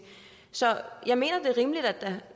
så jeg mener det er rimeligt at